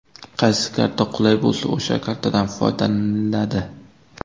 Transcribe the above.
Qaysi karta qulay bo‘lsa, o‘sha kartadan foydalaniladi.